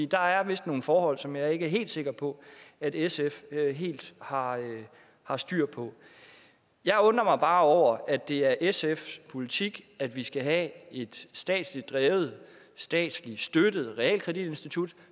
der er vist nogle forhold som jeg ikke er helt sikker på at sf helt har har styr på jeg undrer mig bare over at det er sfs politik at vi skal have et statsligt drevet statsligt støttet realkreditinstitut